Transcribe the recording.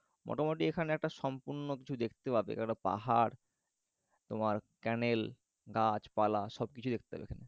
মোটামুটি এখানে একটা সম্পূর্ণ কিছু দেখতে পাবে এক একটা পাহাড় তোমার canal গাছ পালা সবকিছু দেখতে পাবে এখানে